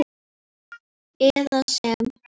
eða sem